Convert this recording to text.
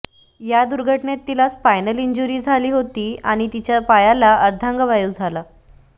या दुर्घटनेत तिला स्पायनल इंज्युरी झाली होती आणि तिच्या पायाला अर्धांगवायू झाला